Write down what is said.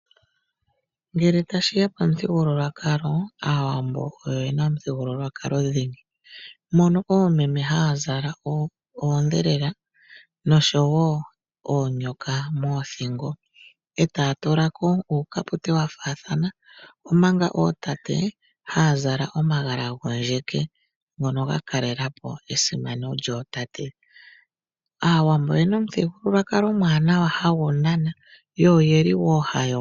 Ngele tashi ya pamuthigululwakalo, Aawambo oye na omuthigululwakalo dhingi, mono oomeme haya zala oondhelela oshowo oonyoka moothingo e taya tula ko uukapute wa faathana. Omanga ootate haya zala omagala gondjeke ngono ga kalela po esimano lyootate. Aawambo oye na omuthigululwakalo omwaanawa hagu nana.